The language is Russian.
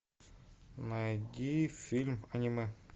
найди фильм аниме